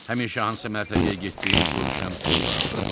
Həmişə hansı mərtəbəyə getdiyini soruşan sinyora vardı.